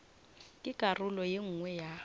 ke karolo ye nngwe ya